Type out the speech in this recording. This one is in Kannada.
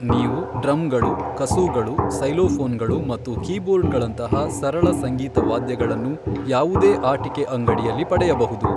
ನೀವು ಡ್ರಮ್ಗಳು, ಕಸೂ಼ಗಳು, ಸೈ಼ಲೋಫೋನ್ಗಳು ಮತ್ತು ಕೀಬೋರ್ಡ್ಗಳಂತಹ ಸರಳ ಸಂಗೀತ ವಾದ್ಯಗಳನ್ನು ಯಾವುದೇ ಆಟಿಕೆ ಅಂಗಡಿಯಲ್ಲಿ ಪಡೆಯಬಹುದು.